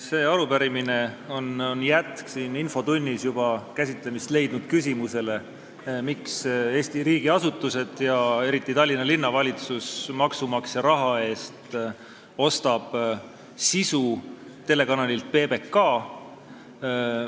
See arupärimine on jätk siin infotunnis juba käsitlemist leidnud küsimusele, miks Eesti riigiasutused – eriti Tallinna Linnavalitsus – ostavad maksumaksja raha eest saadete sisu telekanalilt PBK.